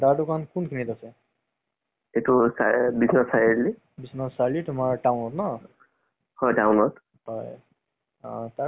কিবা third grade ৰ দিছিলো তু, চালো আহিলে। বহুত আগতে আহিলে আমাৰ result আৰু এতিয়া চাগে আৰু কিছুমানৰ ওলাই আছে চাগে। এইটো third grade, forth grade